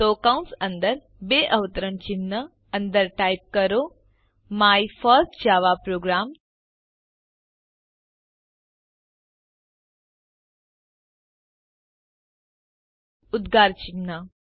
તો કૌંશ અંદર ડબલ અવતરણ ચિહ્ન અંદર ટાઇપ કરો માય ફર્સ્ટ જાવા પ્રોગ્રામ ઉદગાર ચિહ્ન